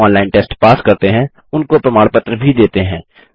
जो online test pass करते हैं उनको प्रमाण पत्र भी देते हैं